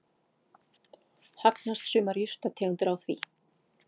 Hagnast sumar jurtategundir á því.